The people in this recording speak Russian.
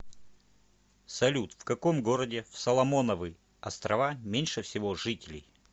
салют в каком городе в соломоновы острова меньше всего жителей